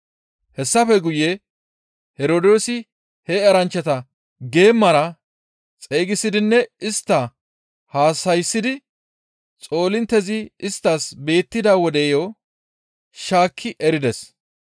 Hessafe guye Herdoosi he eranchchata geemara xeygisidinne istta haasayssidi xoolinttezi isttas beettida wodeyo shaakki erides.